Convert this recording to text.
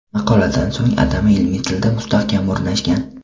Maqoladan so‘ng atama ilmiy tilda mustahkam o‘rnashgan.